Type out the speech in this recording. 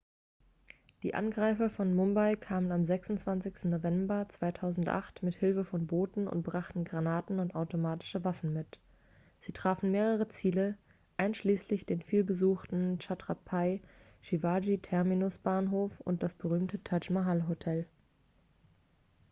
die angreifer von mumbai kamen am 26. november 2008 mit hilfe von booten und brachten granaten und automatische waffen mit sie trafen mehrere ziele einschließlich den vielbesuchten chhatrapai shivaji terminus-bahnhof und das berühmte taj mahal-hotel